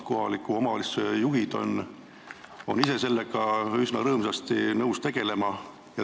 Kohalike omavalitsuste juhid on ise sellega üsna rõõmsasti nõus tegelema.